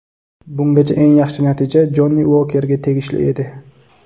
Bungacha eng yaxshi natija Jonni Uokerga tegishli edi.